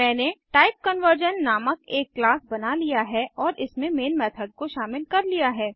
मैंने टाइपकनवर्जन नामक एक क्लास बना लिया है और इसमें मेन मेथड को शामिल कर लिया है